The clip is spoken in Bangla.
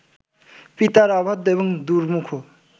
পিতার অবাধ্য এবং দুর্মুখ